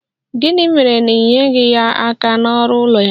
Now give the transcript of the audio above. Gịnị mere na i nyeghị ya aka n'ọrụ ụlọ ya?